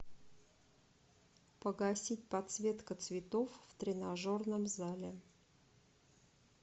погасить подсветка цветов в тренажерном зале